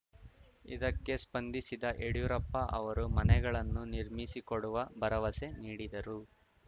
ಇದಕ್ಕೆ ಸ್ಪಂದಿಸಿದ ಯಡ್ಯೂರಪ್ಪ ಅವರು ಮನೆಗಳನ್ನು ನಿರ್ಮಿಸಿಕೊಡುವ ಭರವಸೆ ನೀಡಿದರು